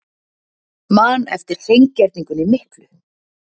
Man eftir hreingerningunni miklu.